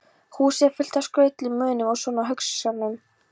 Húsið er fullt af skrautlegum munum og svona húsgagna